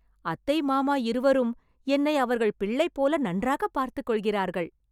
அத்தை மாமா இருவரும், என்னை அவர்கள் பிள்ளை போல நன்றாக பார்த்துக் கொள்கிறார்கள்